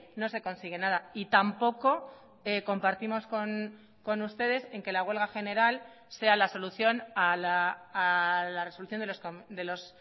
no se consigue nada y tampoco compartimos con ustedes en que la huelga general sea la solución a la resolución de los